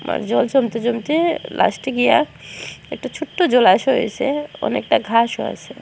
আবার জল জমতে জমতে লাস্টে গিয়া একটা ছোট্ট জলাশয় হইসে অনেকটা ঘাসও আসে।